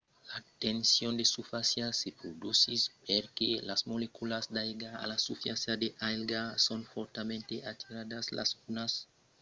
la tension de susfàcia se produsís perque las moleculas d'aiga a la susfàcia de l'aiga son fòrtament atiradas las unas amb las autras mai qu'o son a las moleculas d'aire que son dessús d'elas